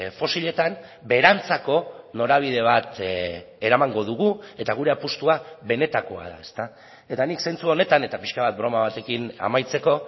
fosiletan beherantzako norabide bat eramango dugu eta gure apustua benetakoa da eta nik zentzu honetan eta pixka bat broma batekin amaitzeko